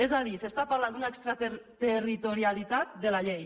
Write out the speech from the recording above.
és a dir s’està parlant d’una extraterritorialitat de la llei